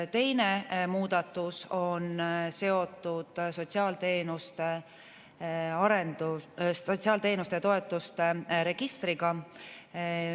Teine muudatus on seotud sotsiaalteenuste ja -toetuste registriga.